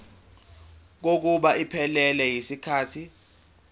kokuba iphelele yisikhathi